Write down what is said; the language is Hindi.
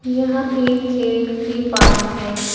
यहां एक खेल के पार्क है।